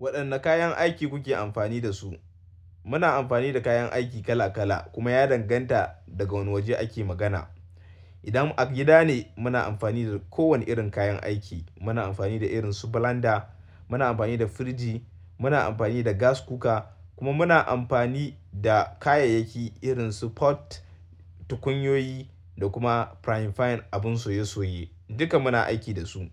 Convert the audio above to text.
Waɗanne kayan aiki kuke amfani da su? Muna amfani da kayan aiki kala kala kuma ya danganta daga wane waje ake magana. Idan a gida ne muna amfani da kowane irin kayan aiki, muna amfani da irin su blender, muna amfani da firiji, muna amfani da gas cooker kuma muna amfani da kayayyaki irin su pot, tukunyoyi da kuma frying pan abun soye soye. Duka muna aiki da su.